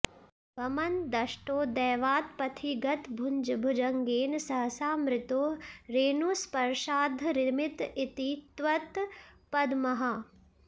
भमन् दष्टो दैवात्पथिगतभुजङ्गेन सहसा मृतो रेणुस्पर्शाद्धरिमित इति त्वत्पदमहः